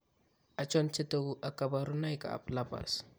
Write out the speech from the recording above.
Achon chetogu ak kaborunoik ab lupus?